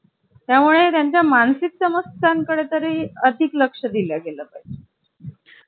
त्यामुळे त्यांच्या मानसिक समस्यां कडे तरी अधिक लक्ष दिल्या गेलं